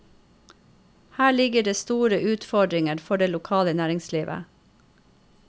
Her ligger det store utfordringer for det lokale næringslivet.